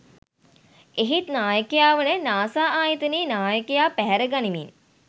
එහෙත් නායකයා වන නාසා ආයතනයේ නායකයා පැහැරගනිමින්